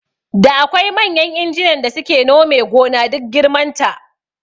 Da akwai manyan injinan da suke nome gona duk girman ta